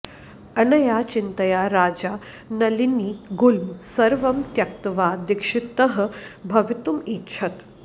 अनया चिन्तया राजा नलिनीगुल्म सर्वं त्यक्त्वा दीक्षितः भवितुम् ऐच्छत्